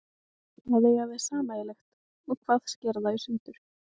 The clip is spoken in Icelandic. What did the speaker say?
Hvað eiga þeir sameiginlegt og hvað sker þá í sundur?